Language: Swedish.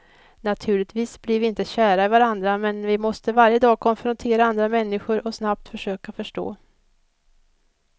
Naturligtvis blir vi inte kära i varandra, men vi måste varje dag konfrontera andra människor och snabbt försöka förstå.